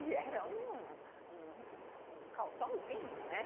E era um um calçãozinho, né?